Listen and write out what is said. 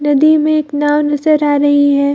नदी में एक नाव नजर आ रही है।